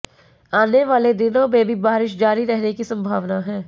आने वाले दिनों में भी बारिश जारी रहने की संभावना है